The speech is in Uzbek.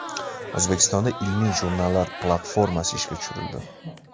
O‘zbekistonda ilmiy jurnallar platformasi ishga tushirildi.